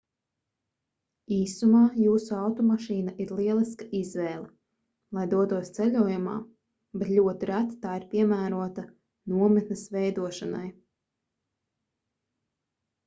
īsumā jūsu automašīna ir lieliska izvēle lai dotos ceļojumā bet ļoti reti tā ir piemērota nometnes veidošanai